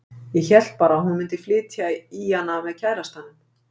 Ég hélt bara að hún mundi flytja í hana með kærastanum.